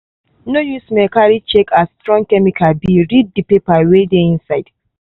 no use smell carry check as strong chemical be read the paper wey dey inside.